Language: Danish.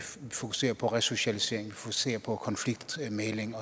fokuserer på resocialisering ser på konfliktmægling